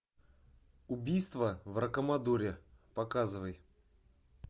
убийство в рокамадуре показывай